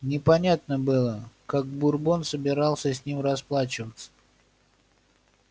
непонятно было как бурбон собирался с ним расплачиваться